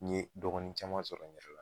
N ɲe dɔgɔnin caman sɔrɔ n yɛrɛ la